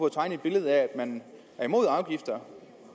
at tegne et billede af at man er imod afgifter